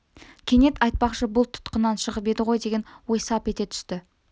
кенет айтпақшы бұл тұтқыннан шығып еді ғой деген ой сап ете түсті